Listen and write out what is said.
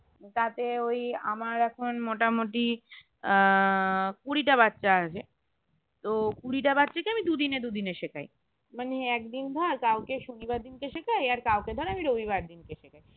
তাতে ওই আমার এখন মোটামুটি আহ কুড়িটা বাচ্চা আসে তো কুড়িটা বাচ্চা কে আমি দুদিনে দুদিনে শেখাই মানে একদিন ধর কাউকে শনিবার দিনকে শেখাই আর কাউকে ধর আমি রবিবার দিনকে শেখাই